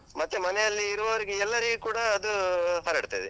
ಮತ್ತೆ ಮನೆ ಅಲ್ಲಿ ಇರುವವ್ರಿಗೆಲ್ಲರಿಗೆ ಕೂಡ ಅದೂ ಹರಡ್ತದೆ.